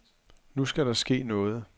Nu skal der ske noget.